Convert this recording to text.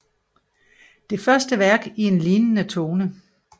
Det første værk i en lignende tone